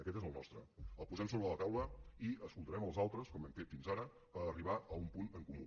aquest és el nostre el posem sobre la taula i escoltarem els altres com hem fet fins ara per arribar a un punt en comú